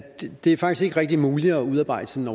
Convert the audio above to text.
det faktisk ikke rigtig er muligt at udarbejde sådan